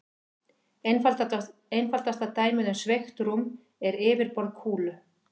Einfaldasta dæmið um sveigt rúm er yfirborð kúlu.